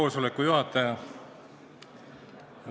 Lugupeetud juhataja!